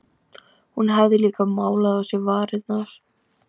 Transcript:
Hún hafði líka málað á sér varirnar.